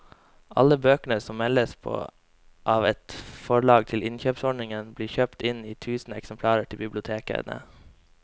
Alle bøker som meldes på av et forlag til innkjøpsordningen blir kjøpt inn i tusen eksemplarer til bibliotekene.